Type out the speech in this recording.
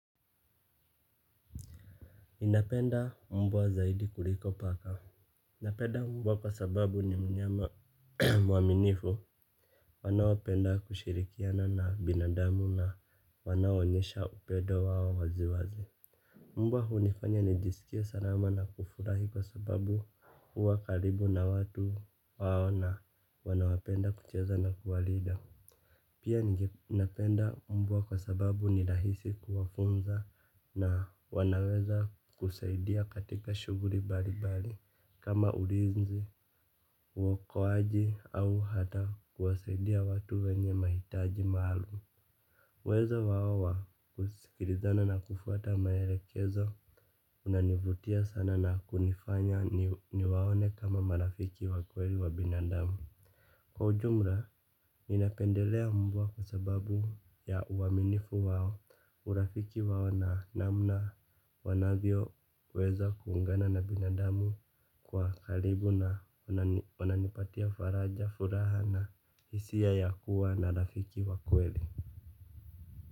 Ninapenda mbwa zaidi kuliko paka. Napenda mbwa kwa sababu ni mnyama mwaminifu. Wanaopenda kushirikiana na binadamu na wanaonyesha upedo wao waziwazi. Mbwa hunifanya nijisikie salama na kufurahi kwa sababu huwa karibu na watu wao na. Wanawapenda kucheza na kuwalida. Pia napenda mbwa kwa sababu ni lahisi kuwafunza na wanaweza kusaidia katika shuguli bali bali kama ulinzi uokoaji au hata kuwasaidia watu wenye mahitaji maalum. Uezo wao wa kusikilizana na kufuata maerekezo unanivutia sana na hunifanya niwaone kama marafiki wa kweli wa binadamu. Kwa ujumla, ninapendelea mbwa kwa sababu ya uwaminifu wao, urafiki wao na namna wanavyo weza kuungana na binadamu kwa kalibu na wananipatia faraja, furaha na hisia ya kuwa na rafiki wa kweli.